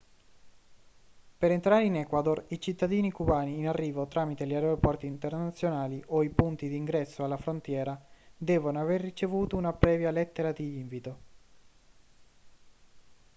per entrare in equador i cittadini cubani in arrivo tramite gli aeroporti internazionali o i punti di ingresso alla frontiera devono aver ricevuto una previa lettera di invito